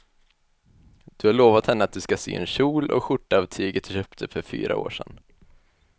Du har lovat henne att du ska sy en kjol och skjorta av tyget du köpte för fyra år sedan.